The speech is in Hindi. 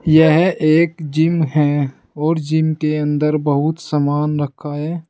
यह एक जिम है और जिम के अंदर बहुत समान रखा है।